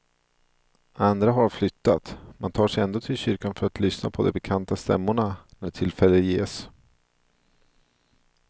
Andra har flyttat, men tar sig ändå till kyrkan för att lyssna på de bekanta stämmorna när tillfälle ges.